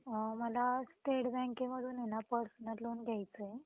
अ मला स्टेट बँकेमधून ना personal loan घ्यायचं आहे.